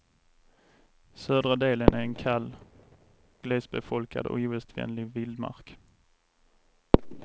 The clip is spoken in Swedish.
Södra delen är en kall, glesbefolkad och ogästvänlig vildmark.